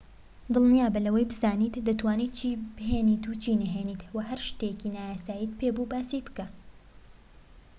دڵنیابە لەوەی بزانیت دەتوانیت چی بێنیت و چی نەهێنیت و هەر شتێکی نایاساییت پێبوو باسی بکە